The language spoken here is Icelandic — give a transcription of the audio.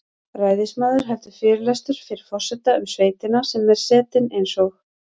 Ræðismaður heldur fyrirlestur fyrir forseta um sveitina sem er setin eins og